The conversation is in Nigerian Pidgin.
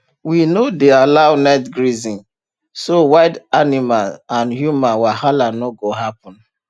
we no dey allow night grazing so wild animal and human wahala no go happen